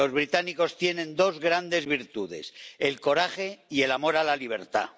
Los británicos tienen dos grandes virtudes el coraje y el amor a la libertad.